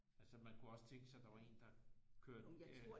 Altså man kunne også tænke sig der var en der kørte